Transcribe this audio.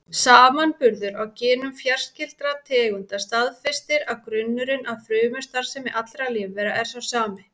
Samanburður á genum fjarskyldra tegunda staðfestir að grunnurinn að frumustarfsemi allra lífvera er sá sami.